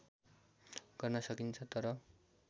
गर्न सकिन्छ तर